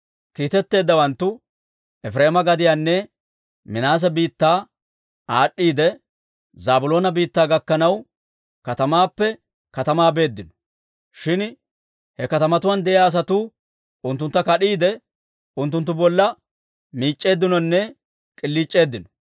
Kiitetteeddawanttu Efireema gadiyanne Minaase biittaa aad'd'iidde, Zaabiloona biittaa gakkanaw katamaappe katamaa beeddino. Shin he katamatuwaan de'iyaa asatuu unttunttu kad'iide, unttunttu bolla miic'c'eeddinonne k'iliic'eeddino.